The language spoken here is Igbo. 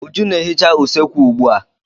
Uju na-ehica usekwu ugbua.